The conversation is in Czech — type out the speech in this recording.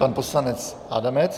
Pan poslanec Adamec.